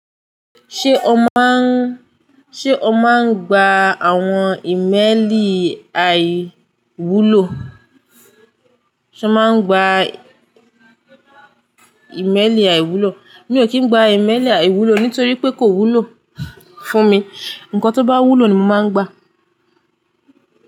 Ṣé o máa ń, ṣe o máa ń gba àwọn ìmẹ́lì àì wúlò? Sé o máa ń gba ìmẹ́lì àì wúlò? Mi ò kí ń gba ìmẹ́lì àì wúlò nítorí pé kò wúlò fún mi. Ǹkan tó bá wúlò ni mo máa ń gba.